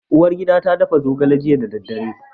Uwargida ta dafa zogale jiya da dare.